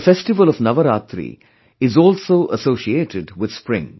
The festival of Navaraatri is also associated with spring